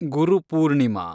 Guru Purnima